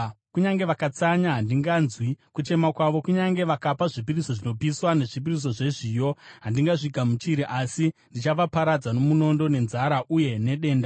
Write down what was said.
Kunyange vakatsanya, handinganzwi kuchema kwavo; kunyange vakapa zvipiriso zvinopiswa nezvipiriso zvezviyo, handingazvigamuchiri. Asi ndichavaparadza nomunondo, nenzara uye nedenda.”